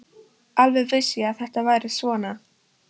Alveg vissi ég að þetta færi svona!